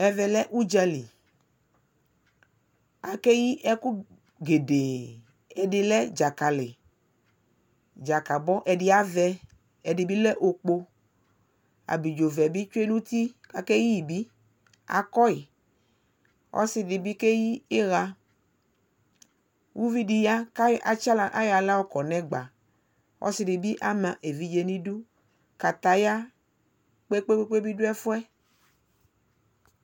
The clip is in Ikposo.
Ɛvɛ udza lι akeyi ɛkʋ gedee Ɛdi lɛ dzakali, dzakalibɔ Ɛdi avɛ, ɛdi bι lɛ okpo Abidzo vɛ bι tsue nʋ uti kʋ akeyii bι, akɔyi Ɔsi dι bι keyi iɣa Uvi dι ya kʋ atsa aɣla ayɔ aɣla yɔkɔ nʋ ɛgba Ɔsdι bι ama evidze nʋ udu Kataya kpekpekpe bι dʋ ɛfu yɛ